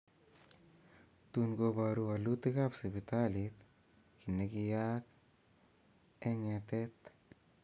Tuun kobaruu wolutikaab sibitaliit kii nekiyayaak eng ng�etet